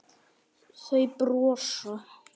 Þau brosa.